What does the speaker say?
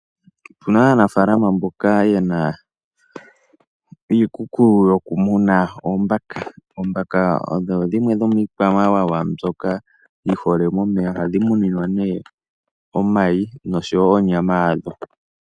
Opuna aanafalama yamwe mboka yena iikuku yo kumuna oombaka. Oombaka odho dhimwe dhomiikwamawawa mbyoka yi hole momeya. Ohadhi muninwa nee omayi noshowo onyama yadho.